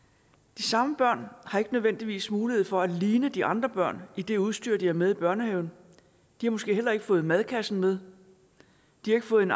de samme børn har ikke nødvendigvis mulighed for at ligne de andre børn i det udstyr de har med i børnehaven og de har måske heller ikke fået madkassen med de har ikke fået en